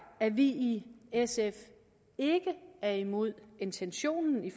at vi i sf ikke er imod intentionen i